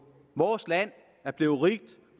vores land er blevet rigt